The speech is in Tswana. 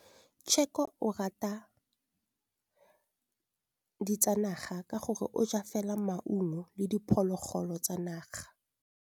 Tshekô o rata ditsanaga ka gore o ja fela maungo le diphologolo tsa naga.